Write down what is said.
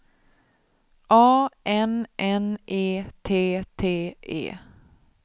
A N N E T T E